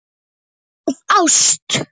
Af ást.